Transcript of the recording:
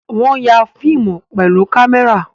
Wọ́n ya fíìmù pẹ̀lú kámẹ́rà